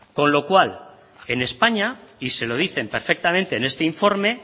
con lo cual en españa y se lo dicen perfectamente en este informe